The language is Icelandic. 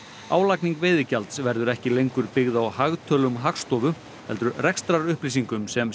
álagning veiðigjalds verður ekki lengur byggð á hagtölum Hagstofu heldur rekstrarupplýsingum sem